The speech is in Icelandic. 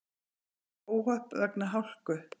Mörg óhöpp vegna hálku